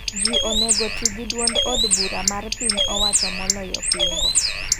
Ji onego ti gi duond od bura mar piny owacho moloyo pingo.